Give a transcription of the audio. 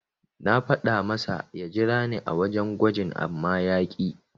Na faɗa masa ya jirani a wajen gwajin amma ya ƙi.